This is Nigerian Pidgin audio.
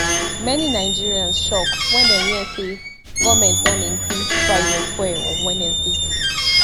many nigerians shock wen dem hear say goment don increase price of fuel on wednesday